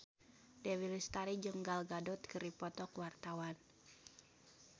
Dewi Lestari jeung Gal Gadot keur dipoto ku wartawan